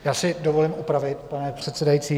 Já si dovolím opravit, pane předsedající.